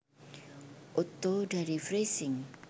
Otto dari Freising